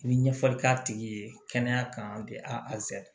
I bɛ ɲɛfɔli k'a tigi ye kɛnɛya kan tɛ a